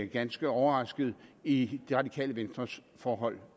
ganske overraskende i det radikale venstres forhold